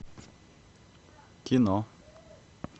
кино